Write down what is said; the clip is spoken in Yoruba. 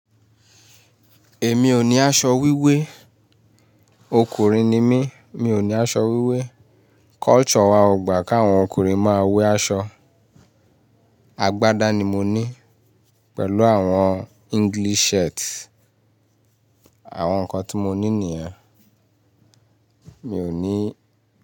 Èmi ò ní aṣọ wíwé. Ọkùnrin ni mí, mi ò ní aṣọ wíwé. Culture wa ò gbà kí àwọn ọkùnrin máa wẹ́ aṣọ. Agbádá ni mo ní pẹ̀lú àwọn English shirt, àwọn nǹkan tí mo ní nìyẹn. Mi ò ní.